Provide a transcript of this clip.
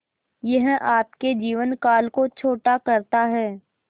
यह आपके जीवन काल को छोटा करता है